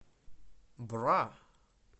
бра